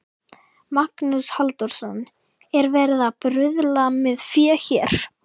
Magnús Halldórsson: Er verið að bruðla með fé hér?